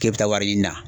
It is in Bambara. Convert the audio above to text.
K'e bɛ taa wari ɲini na